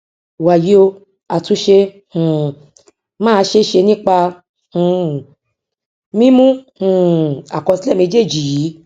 wàyí o àtúnṣe um máa ṣe é ṣe nípa um mímú um àkọsílẹ méjéèjì yìí